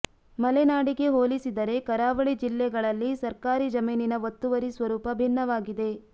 ಮಲೆನಾಡಿಗೆ ಹೋಲಿಸಿದರೆ ಕರಾವಳಿ ಜಿಲ್ಲೆಗಳಲ್ಲಿ ಸರ್ಕಾರಿ ಜಮೀನಿನ ಒತ್ತುವರಿ ಸ್ವರೂಪ ಭಿನ್ನವಾಗಿದೆ